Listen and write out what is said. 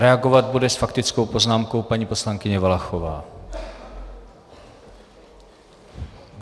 Reagovat bude s faktickou poznámkou paní poslankyně Valachová.